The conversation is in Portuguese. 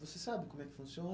Você sabe como é que funciona?